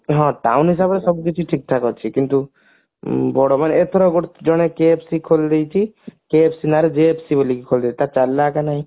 ହଁ town ହିସାବରେ ସବୁକିଛି ଠିକ ଠାକ ଅଛି କିନ୍ତୁ ବଡ ମାନେ ଏଥର ଗୋଟେ ଜଣେ କିଏ KFC ଖୋଲିଦେଇଛି KFC ନାଆଁ ରେ JFC ବୋଲି ଖୋଲି ଦେଇଛି ତାର ଚାଲିଲା କି ନାଇଁ